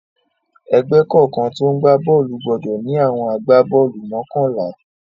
Ẹgbẹ́ kọ̀ọ̀kan tó ń gbá bọ́ọ́lù gbọdọ̀ ní àwọn agbá-bọ́ọ́lù mọ́kànlá.q